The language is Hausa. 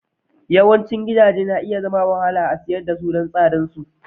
Yawancin gidaje na iya zama da wahala a siyar da su saboda tsadar su.